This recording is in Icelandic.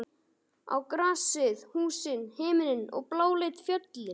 Á grasið, húsin, himininn og bláleit fjöll.